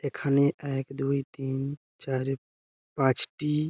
এখানে এক দুই তিন চার পাঁচটি --